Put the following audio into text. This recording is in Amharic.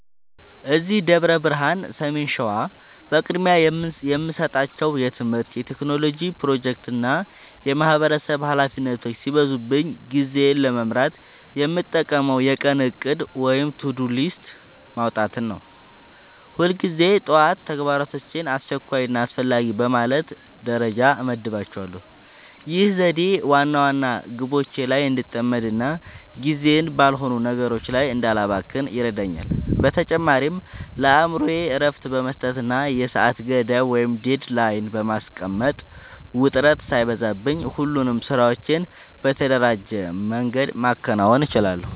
እዚህ ደብረ ብርሃን (ሰሜን ሸዋ) በቅድሚያ የምሰጣቸው የትምህርት፣ የቴክኖሎጂ ፕሮጀክቶችና የማህበረሰብ ኃላፊነቶች ሲበዙብኝ ጊዜዬን ለመምራት የምጠቀመው የቀን እቅድ (To-Do List) ማውጣትን ነው። ሁልጊዜ ጠዋት ተግባራቶቼን አስቸኳይና አስፈላጊ በማለት ደረጃ እመድባቸዋለሁ። ይህ ዘዴ ዋና ዋና ግቦቼ ላይ እንድጠመድና ጊዜዬን ባልሆኑ ነገሮች ላይ እንዳላባክን ይረዳኛል። በተጨማሪም ለአእምሮዬ እረፍት በመስጠትና የሰዓት ገደብ (Deadline) በማስቀመጥ፣ ውጥረት ሳይበዛብኝ ሁሉንም ስራዎቼን በተደራጀ መንገድ ማከናወን እችላለሁ።